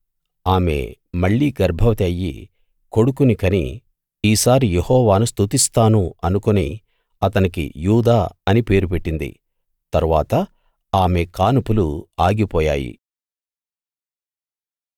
ఆమె మళ్ళీ గర్భవతి అయ్యి కొడుకుని కని ఈసారి యెహోవాను స్తుతిస్తాను అనుకుని అతనికి యూదా అని పేరు పెట్టింది తరువాత ఆమె కానుపులు ఆగిపోయాయి